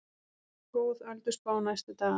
Góð ölduspá næstu daga